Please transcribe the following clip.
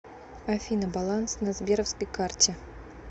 афина баланс на сберовской карте